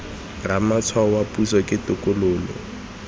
ramatshwao wa puso ke tokololo